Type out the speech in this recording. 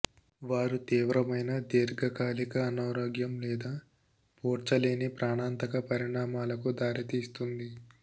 వారు తీవ్రమైన దీర్ఘకాలిక అనారోగ్యం లేదా పూడ్చలేని ప్రాణాంతకం పరిణామాలకు దారితీస్తుంది